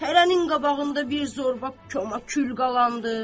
Hərənin qabağında bir zorba kömə kül qalandı.